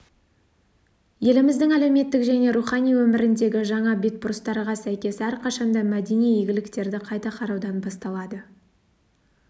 еліміздің әлеуметтік және рухани өміріндегі жаңа бетбұрыстарға сәйкес әрқашанда мәдени игіліктерді қайта қараудан басталады